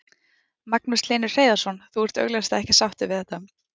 Magnús Hlynur Hreiðarsson: Þú ert augljóslega ekki sáttur við þetta?